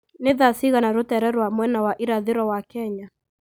nĩ thaa cigana rũteere rwa mwena wa irathĩro wa Kenya